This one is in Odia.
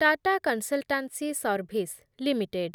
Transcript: Tata consultancy service limited